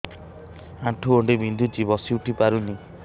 ଆଣ୍ଠୁ ଗଣ୍ଠି ବିନ୍ଧୁଛି ବସିଉଠି ପାରୁନି